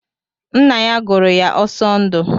Ńnà yá gụrụ ya Osondu.